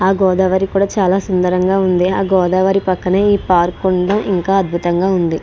ఆ గోదావరి కూడా చాలా సుందరంగా ఉంది. ఆ గోదావరి పక్కనే ఈ పార్క్ ఉండడం చాలా అద్భుతంగా ఉంది.